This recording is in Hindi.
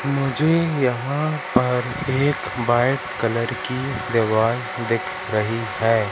मुझे यहां पर एक बाईट कलर की दीवार दिख रही है।